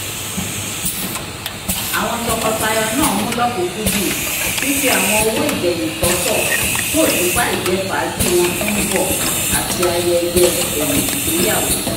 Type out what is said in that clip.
awọn tọkọtaya naa mú lọkunkundùn fifi awọn owo igbẹhin sọtọ fun oṣupa ijẹfaaji wọn ti n bọ ati ayẹyẹ ẹyin-igbeyawo